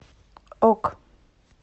ок